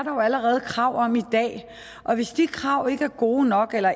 jo allerede krav om i dag og hvis de krav ikke er gode nok eller